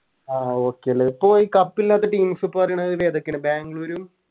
ആഹ് Okay ലെ ഇപ്പൊ ഈ Cup ഇല്ലത്തെ Teams ഇപ്പൊ പറയണത് ഇതേതൊക്കെയാണ് ബാംഗ്ലുരു